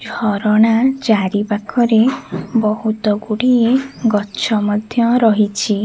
ଝରଣା ଚାରିପାଖରେ ବହୁତ ଗୁଡ଼ିଏ ଗଛ ମଧ୍ୟ ରହିଛି।